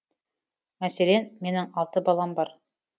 мәселен менің алты балам бар